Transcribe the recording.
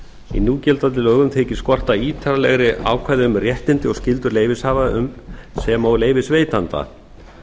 í núgildandi lögum þykir skorta ítarlegri ákvæði um réttindi og skyldur leyfishafa sem og leyfisveitanda